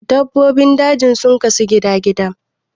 dabbobin daji sun kasu gida-gida